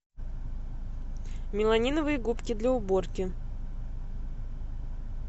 меламиновые губки для уборки